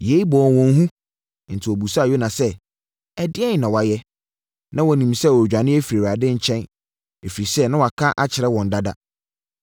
Yei bɔɔ wɔn hu, enti wɔbisaa Yona sɛ, “Ɛdeɛn na woayɛ?” (Na wɔnim sɛ ɔredwane afiri Awurade nkyɛn, ɛfiri sɛ na waka saa akyerɛ wɔn dada).